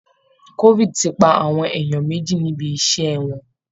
Covid ti pa àwọn èèyàn méjì níbi iṣṣẹ́ wọn